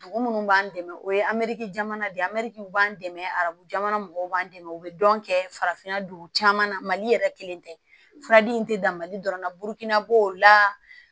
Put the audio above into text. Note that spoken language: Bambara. Dugu munnu b'an dɛmɛ o ye ameriki jamana de ye an mɛ an dɛmɛ arabu jamana mɔgɔw b'an dɛmɛ o bɛ dɔn kɛ farafinna dugu caman na mali yɛrɛ kelen tɛ fura di in tɛ dan mali dɔrɔn na burukina b'o la